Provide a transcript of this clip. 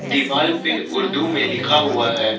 दीवाल पे उर्दू में लिखा हुआ है।